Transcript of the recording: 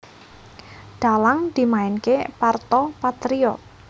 Dhalang dimainké Parto Patrio